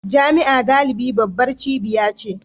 Jami'a galibi babbar cibiya ce